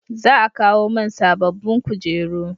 Za a kawo mun sabobbin kujeru